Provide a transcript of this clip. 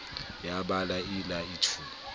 ya ba lai lai thu